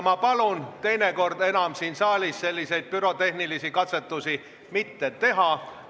Ma palun teinekord enam siin saalis selliseid pürotehnilisi katsetusi mitte teha!